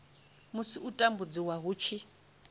musi u tambudziwa hu tshi